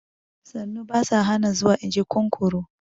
Sannu ba ta hana zuwa, in ji kunkuru